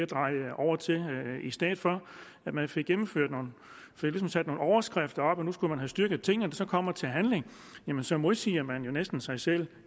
dreje over til i stedet for man fik sat nogle overskrifter og nu skulle man have styrket tingene så kommer til handling modsiger man jo næsten sig selv